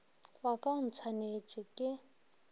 wa ka o ntshwanetše ke